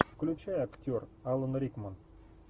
включай актер алан рикман